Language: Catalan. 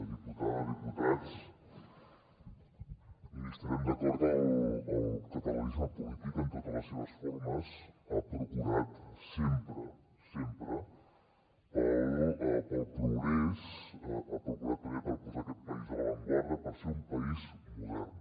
diputada diputats estarem d’acord que el catalanisme polític en totes les seves formes ha procurat sempre sempre pel progrés ha procurat també per posar aquest país a l’avantguarda per ser un país modern